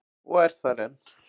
Og er þar enn.